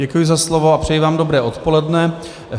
Děkuji za slovo a přeji vám dobré odpoledne.